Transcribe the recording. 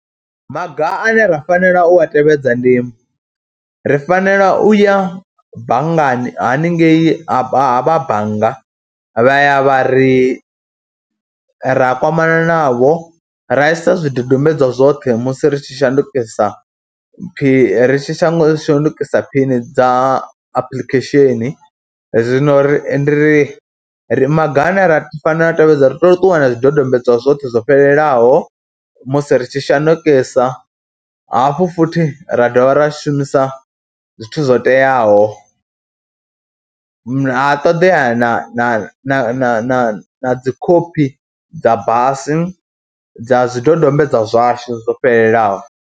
Maga ane ra fanela u a tevhedza ndi ri fanela u ya banngani haningei ha vha bannga vha ya vha ri, ra kwamana navho, ra i sa zwidodombedzwa zwoṱhe musi ri tshi shandukisa phi, ri tshi shandukisa phini dza apulikhesheni, zwino ri ri ri, maga ane ra fanela u a tevhedza ri tea u ṱuwa na zwidodombedzwa zwoṱhe zwo fhelelaho musi ri tshi shandukisa, hafhu futhi ra dovha ra shumisa zwithu zwo teaho. Ha ṱoḓea na na na dzi khophi dza basa dza zwidodombedzwa zwashu zwo fhelelaho.